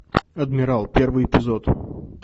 адмирал первый эпизод